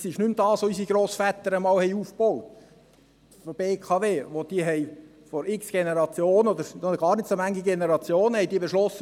Das ist nicht mehr die BKW, die unsere Grossväter einmal aufbauten, als diese vor noch gar nicht so vielen Generationen beschlossen: